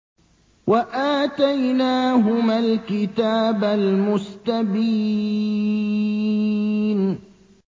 وَآتَيْنَاهُمَا الْكِتَابَ الْمُسْتَبِينَ